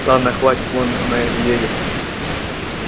ладно хватит вон она едет